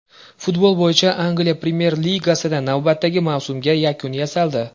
Futbol bo‘yicha Angliya Premyer-ligasida navbatdagi mavsumga yakun yasaldi.